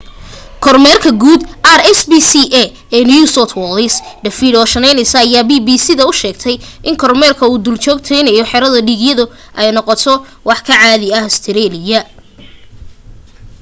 kormeeraha guud rspca ee new south wales david o'shannessy ayaa bbc da u sheegay in kormeerka iyo duljoogteynta xero dhiigyadu ay noqto wax ka caadi ah ustareeliya